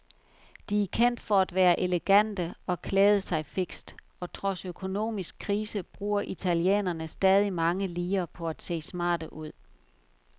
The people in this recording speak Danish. De er kendt for at være elegante og klæde sig fikst, og trods økonomisk krise bruger italienerne stadig mange lire på at se smarte ud.